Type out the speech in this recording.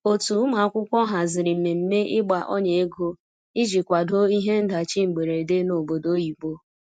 otu ụmụakwụkwọ haziri mmeme igba ọnya ego ịjị kwado ihe ndachi mgberede n'obodo oyibo